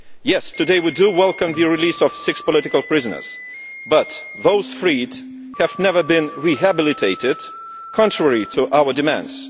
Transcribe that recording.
Yes, today we welcome the release of six political prisoners, but those freed have not been rehabilitated, contrary to our demands.